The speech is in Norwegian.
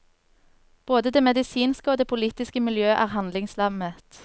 Både det medisinske og det politiske miljø er handlingslammet.